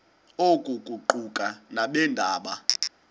oku kuquka nabeendaba